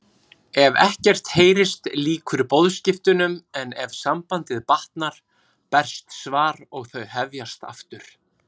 Ef ekkert heyrist lýkur boðskiptunum en ef sambandið batnar berst svar og þau hefjast aftur.